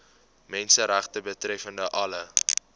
menseregte betreffende alle